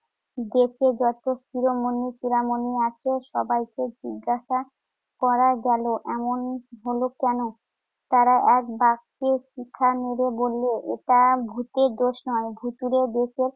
দেশে যত শিরোমণি চূড়ামণি আছে সবাইকে জিজ্ঞাসা করা গেল এমন হলো কেন? তারা একবাক্যে পিছা মেরে বললো, এটা ভুতের দোষ নয় ভুতুড়ে দেশে